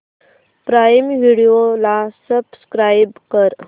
prime Video ला subscribe कर